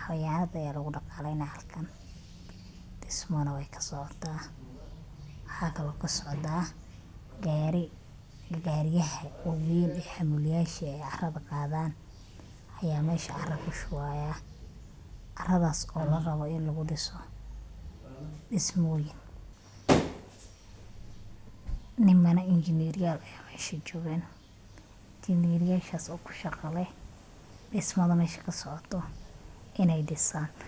hawayanayka aya lagudaqaleyna halkan, dismo nah way kasocota hadana gari ay hamuliyadka carada qadaan aya mesha cara kushubi haya, caradas oo larawo ini ladiso, ama engineer aya mesha jogaan oo kushaga leh dismada mesha kasocoto inay disaan.